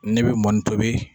Ne bɛ mɔni tobi.